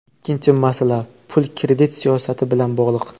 Ikkinchi masala, pul-kredit siyosati bilan bog‘liq.